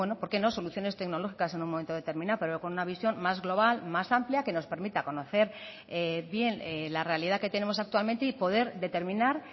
por qué no soluciones tecnológicas en un momento determinado pero con una visión más global más amplia que nos permita conocer bien la realidad que tenemos actualmente y poder determinar